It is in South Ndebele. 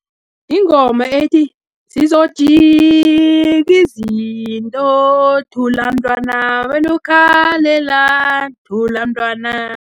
Yingoma ethi, zizojiki izinto, thula mntwana, wenu ukhalelani, thula mntwana.